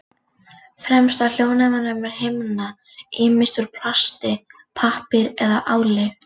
Fremst á hljóðnemum er himna, ýmist úr plasti, pappír eða áli.